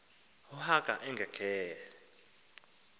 u haka ekhangele